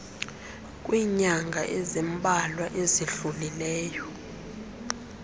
kwiinyanga ezimbalwa ezidlulileyo